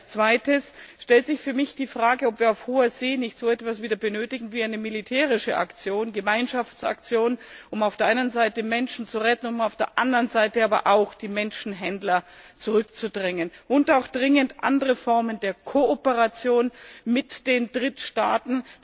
Als Zweites stellt sich für mich die Frage, ob wir auf hoher See nicht wieder so etwas benötigen wie eine militärische Gemeinschaftsaktion, um auf der einen Seite Menschen zu retten, um aber auf der anderen Seite auch die Menschenhändler zurückzudrängen, und auch dringend andere Formen der Kooperation mit den Drittstaaten.